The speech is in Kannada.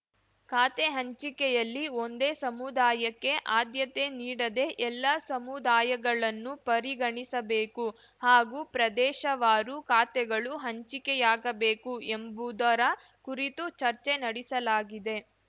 ಖಾತೆ ಹಂಚಿಕೆಯಲ್ಲಿ ಒಂದೇ ಸಮುದಾಯಕ್ಕೆ ಆದ್ಯತೆ ನೀಡದೆ ಎಲ್ಲಾ ಸಮುದಾಯಗಳನ್ನು ಪರಿಗಣಿಸಬೇಕು ಹಾಗೂ ಪ್ರದೇಶವಾರು ಖಾತೆಗಳು ಹಂಚಿಕೆಯಾಗಬೇಕು ಎಂಬುವುದರ ಕುರಿತು ಚರ್ಚೆ ನಡೆಸಲಾಗಿದೆ